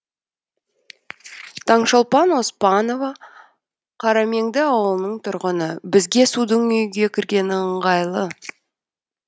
таңшолпан оспанова қарамеңді ауылының тұрғыны бізге судың үйге кіргені ыңғайлы